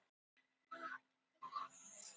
Á þeirri stundu vissi ég að ég væri kristinn.